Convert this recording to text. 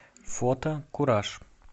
фото кураж